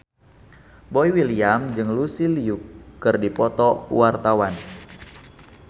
Boy William jeung Lucy Liu keur dipoto ku wartawan